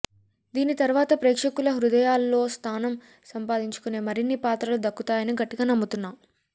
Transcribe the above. దీని తర్వాత ప్రేక్షకుల హృదయాల్లో స్థానం సంపాదించునే మరిన్ని పాత్రలు దక్కుతాయని గట్టిగా నమ్ముతున్నా